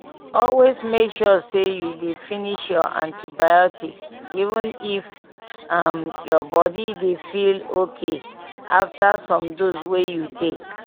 always make sure say you dey finish your antibiotics even if um your body dey feel okay after some dose wey you take